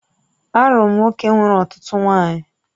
Arụ m nwoke nwere ọtụtụ nwaanyị